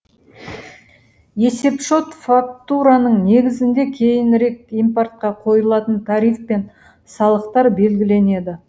есепшот фактураның негізінде кейінірек импортқа қойылатын тариф пен салықтар белгіленеді